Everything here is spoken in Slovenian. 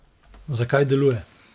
Zakaj deluje?